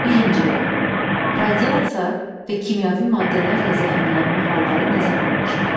Birinci, radiasiya və kimyəvi maddələrlə zəhərlənmə halları nə zaman baş verir?